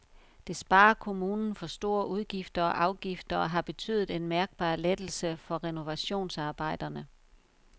Det sparer kommunen for store udgifter og afgifter og har betydet en mærkbar lettelse for renovationsarbejderne.